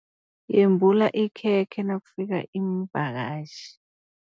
Yembula ikhekhe nakufika iimvakatjhi.